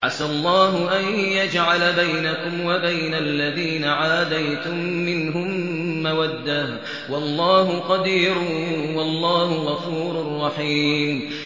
۞ عَسَى اللَّهُ أَن يَجْعَلَ بَيْنَكُمْ وَبَيْنَ الَّذِينَ عَادَيْتُم مِّنْهُم مَّوَدَّةً ۚ وَاللَّهُ قَدِيرٌ ۚ وَاللَّهُ غَفُورٌ رَّحِيمٌ